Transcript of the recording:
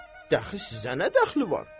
Dəxi sizə nə dəxli var?